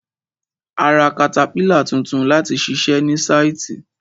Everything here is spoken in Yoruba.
A ra katapílà tuntun láti ṣiṣẹ ní sáìtì.